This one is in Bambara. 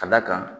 Ka d'a kan